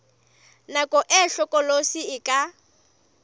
nako e hlokolosi e ka